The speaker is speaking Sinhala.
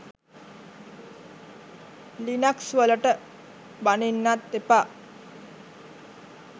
ලිනක්ස් වලට බනින්නත් එපා.